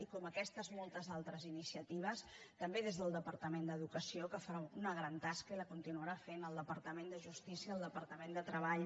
i com aquestes moltes altres iniciatives també del departament d’educació que fa una gran tasca i la continuarà fent el departament de justícia el departament de treball